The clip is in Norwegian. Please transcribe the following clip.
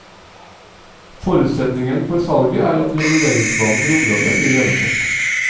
Forutsetningen for salget er at reguleringsplanen for området blir gjennomført.